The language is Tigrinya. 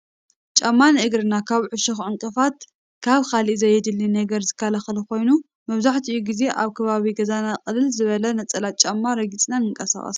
ጫማ ንእግርና ካብ ዕሾኽን ዕንቅፋትን ካብ ካልእ ዘየድሊ ነገርን ዝከላኸል ኮይኑ መብዛሕትኡ ጊዜ ኣብ ከባቢ ገዛና ቅልል ዝበለ ነፀላ ጫማ ረጊፅና ንንቀሳቐስ፡፡